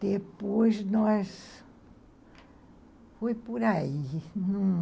Depois, nós, foi por aí.